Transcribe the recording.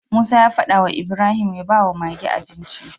Musa ya fada wa Ibrahim ya bawa Mage abinci